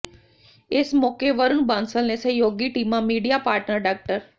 ਇਸ ਮੌਕੇ ਵਰੁਣ ਬਾਂਸਲ ਨੇ ਸਹਿਯੋਗੀ ਟੀਮਾਂ ਮੀਡੀਆ ਪਾਟਨਰ ਡਾ